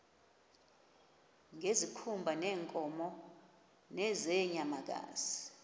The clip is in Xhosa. ngezikhumba zeenkomo nezeenyamakazi